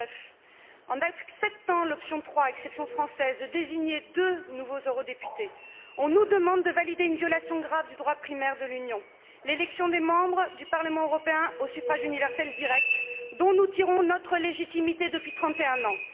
2009. En acceptant l'option trois exception française de désigner deux nouveaux eurodéputés, on nous demande de valider une violation grave du droit primaire de l'Union l'élection des membres du Parlement européen au suffrage universel direct, dont nous tirons notre légitimité depuis 31 ans.